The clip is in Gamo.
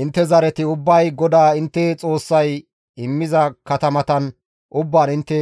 Intte zareti ubbay GODAA intte Xoossay immiza katamatan ubbaan intte